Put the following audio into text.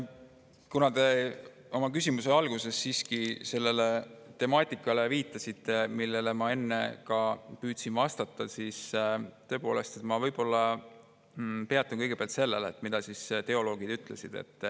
Kuna te oma küsimuse alguses siiski viitasite sellele temaatikale, mille kohta ma ka enne püüdsin vastata, siis ma võib-olla peatun kõigepealt sellel, mida teoloogid ütlesid.